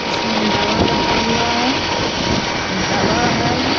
इसमें दवा रखा हुआ है दवा है।